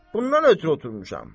Bundan ötrü oturmuşam.